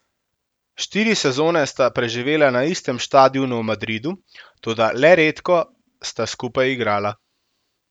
Štiri sezone sta preživela na istem štadionu v Madridu, toda le redko sta skupaj igrala.